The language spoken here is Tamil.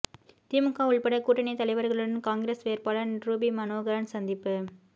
திமுக உள்பட கூட்டணி தலைவர்களுடன் காங்கிரஸ் வேட்பாளர் ரூபி மனோகரன் சந்திப்பு